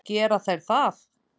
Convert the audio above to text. Gera þær það?